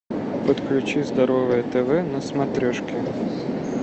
подключи здоровое тв на смотрешке